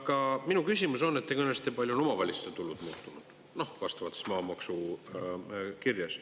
Aga minu küsimus on, et te kõnelesite, kui palju on omavalitsuste tulud muutunud vastavalt siis maamaksu kirjes.